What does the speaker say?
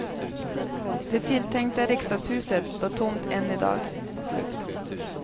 Det tilltänkta riksdagshuset står tomt än i dag.